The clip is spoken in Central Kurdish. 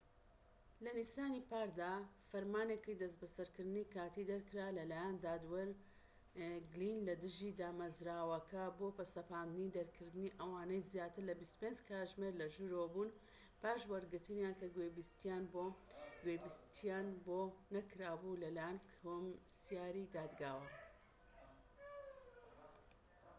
لە نیسانی پاردا، فەرمانێکی دەستبەسەرکردنی کاتیی دەرکرا لەلایەن دادوەر گلین لە دژی دامەزراوەکە بۆ سەپاندنی دەرکردنی ئەوانەی زیاتر لە ٢٤ کاتژمێر لەژوورەوە بوون پاش وەرگرتنیان کە گوێبیستییان بۆ نەکرابوو لەلایەن کۆمسیاری دادگاوە